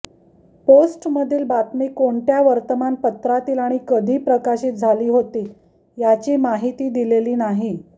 पोस्टमधील बातमी कोणत्या वर्तमानपत्रातील आणि कधी प्रकाशित झाली होती याची माहिती दिलेली नाही